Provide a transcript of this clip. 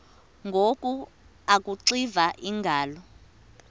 ngoku akuxiva iingalo